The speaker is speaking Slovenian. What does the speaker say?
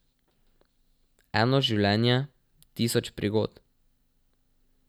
Eno življenje, tisoč prigod.